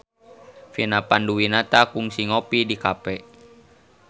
Vina Panduwinata kungsi ngopi di cafe